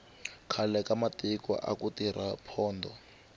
khale ka matiko aku tirha pondho